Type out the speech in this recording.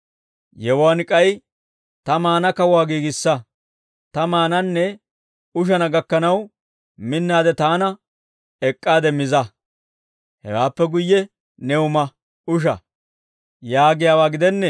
Yewuwaan k'ay, ‹Ta maana kawuwaa giigissa; ta maananne ushana gakkanaw minnaade taana ek'k'aade miza. Hewaappe guyye new ma, usha› yaagiyaawaa gidennee?